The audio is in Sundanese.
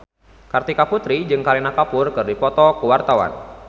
Kartika Putri jeung Kareena Kapoor keur dipoto ku wartawan